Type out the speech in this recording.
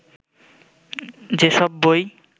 যেসব বই